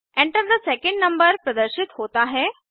Enter थे second number प्रदर्शित होता है